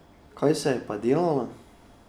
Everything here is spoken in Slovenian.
Kaj se je pa delalo?